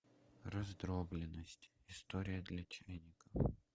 раздробленность история для чайников